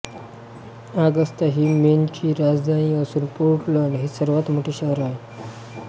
Agusta ही मेनची राजधानी असून पोर्टलंड हे सर्वात मोठे शहर आहे